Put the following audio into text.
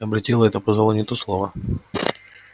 облетела это пожалуй не то слово